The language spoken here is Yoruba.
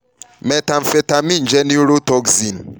methamphetamine jẹ neurotoxin